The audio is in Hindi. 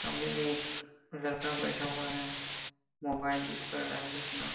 सामने में एक लड़का बैठा हुआ है मोबाइल यूज कर रहा है वो अपना --